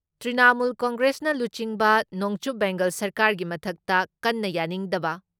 ꯇ꯭ꯔꯤꯅꯥꯃꯨꯜ ꯀꯪꯒ꯭ꯔꯦꯁꯅ ꯂꯨꯆꯤꯡꯕ ꯅꯣꯡꯆꯨꯞ ꯕꯦꯡꯒꯥꯜ ꯁꯔꯀꯥꯔꯒꯤ ꯃꯊꯛꯇ ꯀꯟꯅ ꯌꯥꯅꯤꯡꯗꯕ